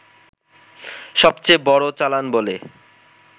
সবচেয়ে বড় চালান বলে